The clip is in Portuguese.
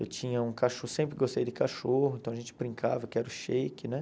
Eu tinha um cachorro, sempre gostei de cachorro, então a gente brincava, eu quero shake, né?